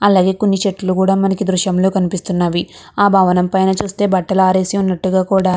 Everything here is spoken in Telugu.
అలాగే కొన్ని చెట్లు కూడా మనకి దృశ్యంలో కనిపిస్తున్నవి ఆ భవనం పైన చుస్తే బట్టలు ఆరేసినట్టుగ కూడా --